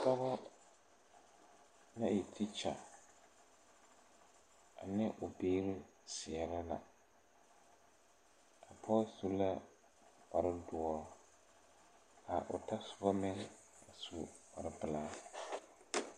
Pɔgɔ na e teekyɛ ane o biire seɛrɛ la a pɔɔ su la kparedoɔ kaa o tasobɔ meŋ su kparepelaa.